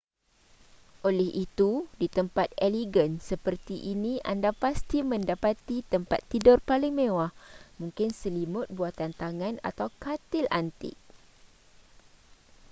oleh itu di tempat elegan seperti ini anda pasti mendapati tempat tidur paling mewah mungkin selimut buatan tangan atau katil antik